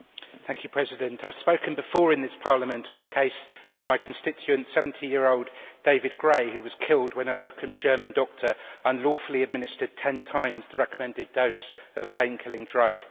Madam President, I have spoken before in this Parliament on the case of my constituent, 70 year old David Gray, who was killed when a locum German doctor unlawfully administered 10 times the recommended dose of a pain killing drug.